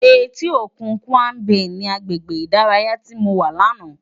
Éti ókún Tàkwá Bé ni àgbégbé idàráyá ti mó wá làná